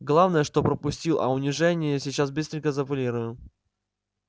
главное что пропустил а унижение сейчас быстренько заполируем